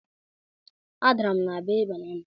adara m na bee banana